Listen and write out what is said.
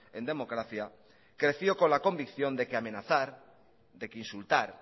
en democracia creció con la convicción de que amenazar de que insultar